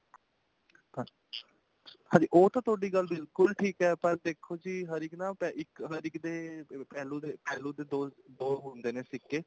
ਹਾਂਜੀ ਉਹ ਤਾਂ ਥੋੜੀ ਗੱਲ ਬਿਲਕੁਲ ਠੀਕ ਹੈ ਪਰ ਦੇਖੋ ਹਰ ਇੱਕ ਨਾ ਹਰ ਇੱਕ ਦੇ ਪਹਿਲੂ ਦੇ ਪਹਿਲੂ ਦੇ ਦੋ ਹੁੰਦੇ ਨੇ ਸਿੱਕੇ